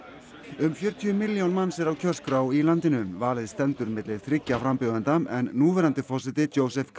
um fjörutíu milljón manns eru á kjörskrá í landinu valið stendur milli þriggja frambjóðenda en núverandi forseti